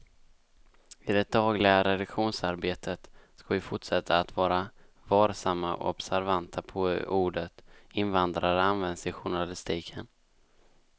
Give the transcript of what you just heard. I det dagliga redaktionsarbetet ska vi fortsätta att vara varsamma och observanta på hur ordet invandrare används i journalistiken.